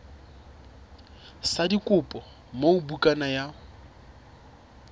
sa dikopo moo bukana ya